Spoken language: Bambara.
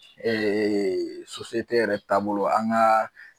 yɛrɛ taabolo an ka